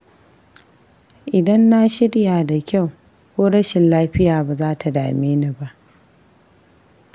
Idan na shirya da kyau, ko rashin lafiya ba za ta dame ni ba.